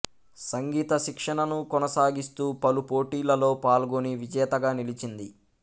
సంగీత శిక్షణను కొనసాగిస్తూ పలు పోటీలలో పాల్గొని విజేతగా నిలిచింది